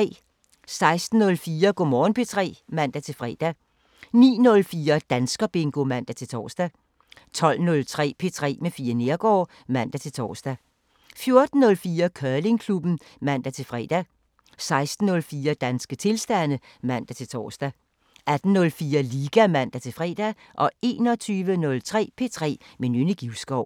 06:04: Go' Morgen P3 (man-fre) 09:04: Danskerbingo (man-tor) 12:03: P3 med Fie Neergaard (man-tor) 14:04: Curlingklubben (man-fre) 16:04: Danske tilstande (man-tor) 18:04: Liga (man-fre) 21:03: P3 med Nynne Givskov